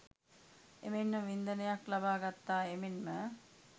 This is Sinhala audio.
එමෙන්ම වින්දනයක් ලබා ගත්තා එමෙන්ම